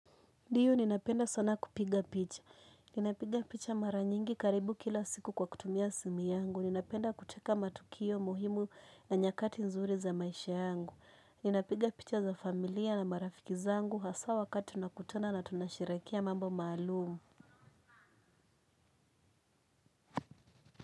Ndiyo ninapenda sana kupiga picha. Ninapiga picha mara nyingi karibu kila siku kwa kutumia simu yangu. Ninapenda kuteka matukio muhimu na nyakati nzuri za maisha yangu. Ninapiga picha za familia na marafiki zangu. Hasa wakati unakutana na tunasherekea mambo maalumu.